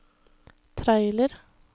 trailer